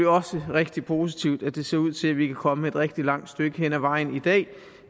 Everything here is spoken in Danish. også rigtig positivt at det ser ud til at vi kan komme et rigtig langt stykke hen ad vejen i dag